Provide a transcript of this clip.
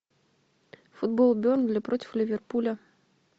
футбол бернли против ливерпуля